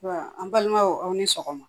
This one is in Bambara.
Ɔ an balimaw aw ni sɔgɔma